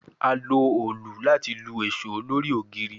A lo òòlù lati lu eso lori ogiri